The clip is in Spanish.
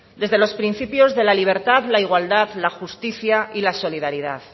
desde los principios de la libertad la igualdad la justicia y la solidaridad